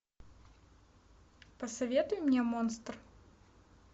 посоветуй мне монстр